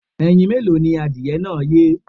Ẹyin mélòó ni adìyẹ náà yé.